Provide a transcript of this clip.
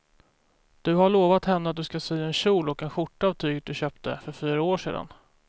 Du har lovat henne att du ska sy en kjol och skjorta av tyget du köpte för fyra år sedan.